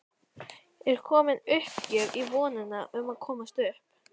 Er komin uppgjöf í vonina um að komast upp?